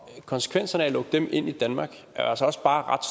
konsekvenserne af at lukke dem ind i danmark er altså også bare ret